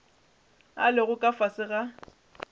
a lego ka fase ga